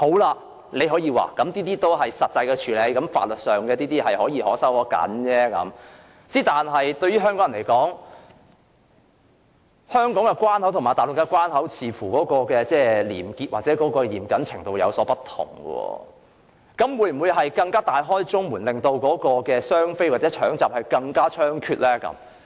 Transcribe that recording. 你大可說這涉及實際的處理，在法律上可鬆可緊，但對香港人來說，香港關口和內地關口的廉潔或嚴謹程度有所不同，那麼會否出現更加大開中門，"雙非孕婦"衝急症室分娩的行為更加猖獗的情況？